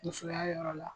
Musoya yɔrɔ la